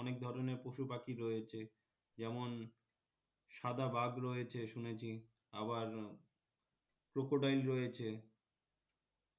অনেক ধরনের পশুপাখি রয়েছে যেমন সাদা বাঘ রয়েছে শুনেছি আবার crocodile রয়েছে